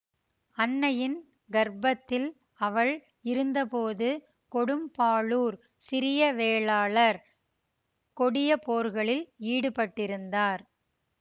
அன்னையின் கர்ப்பத்தில் அவள் இருந்தபோது கொடும்பாளூர் சிறிய வேளாளர் கொடிய போர்களில் ஈடுபட்டிருந்தார்